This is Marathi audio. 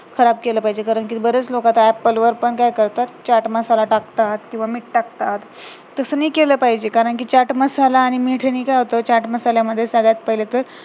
खराब केलं पाहिजे कारण कि बराच लोक आता apple वर पण काय करतात चाट मसाला टाकतात किंवा मीठ टाकतात तसं नाही केलं पाहिजे कारण कि चाट मसाला आणि मीठ नि काय होतं सध्याच्या पहिले तर